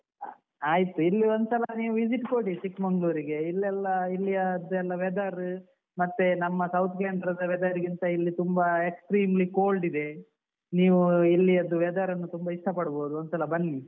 ಆಯ್ತು ಇಲ್ಲಿ ಒಂದ್ಸಲ ನೀವು visit ಕೊಡಿ ಚಿಕ್ಮಂಗ್ಳೂರ್ ಗೆ ಇಲ್ಲೆಲ್ಲ ಇಲ್ಲಿ ಅದ್ದು weather ಮತ್ತೆ ನಮ್ಮ South canara ದ weather ಗಿಂತ ಇಲ್ಲಿ ತುಂಬ extremely cold ಇದೆ ನೀವು ಇಲ್ಲಿ ಅದ್ದು weather ನ್ನು ತುಂಬ ಇಷ್ಟ ಪಡ್ಬೋದು ಒಂದ್ಸಲ ಬನ್ನಿ.